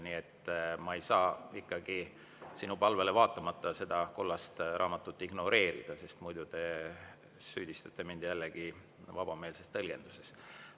Nii et ma ei saa ikkagi sinu palvele vaatamata seda kollast raamatut ignoreerida, sest muidu te süüdistate mind jällegi vabameelses tõlgenduses.